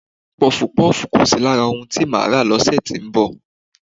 Pọfupọ́ọ̀fù kò sí lára ohun tí mo máa rà lọ́sẹ̀ tó ń bọ̀